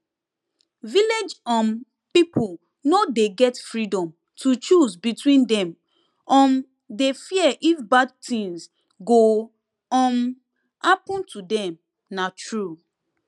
village um people no dey get freedom to choose because dem um dey fear if bad thing go um happen to them na true